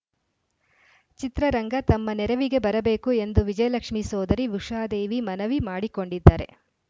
ಚಿತ್ರರಂಗ ತಮ್ಮ ನೆರವಿಗೆ ಬರಬೇಕು ಎಂದು ವಿಜಯಲಕ್ಷ್ಮೀ ಸೋದರಿ ಉಷಾದೇವಿ ಮನವಿ ಮಾಡಿಕೊಂಡಿದ್ದಾರೆ